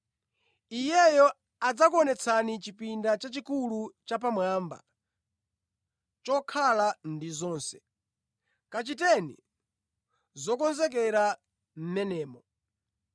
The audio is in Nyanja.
Iyeyo adzakuonetsani chipinda chachikulu chapamwamba, chokhala ndi zonse. Kachiteni zokonzekera mʼmenemo.”